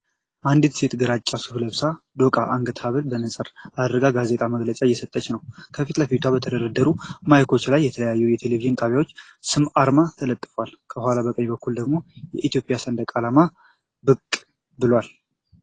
አንዲት ሴት ግራጫ ሱፍ ለብሳ፣ ዶቃ የአንገት ሀብልና መነጽር አድርጋ ጋዜጣዊ መግለጫ እየሰጠች ነው። ከፊት ለፊቷ በተደረደሩት ማይክሮፎኖች ላይ የተለያዩ የቴሌቪዥን ጣቢያዎች ስም አርማዎች ተለጥፈዋል። ከኋላ በቀኝ በኩል ደግሞ የኢትዮጵያ ሰንደቅ ዓላማ ብቅ ብሏል።